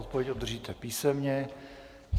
Odpověď obdržíte písemně.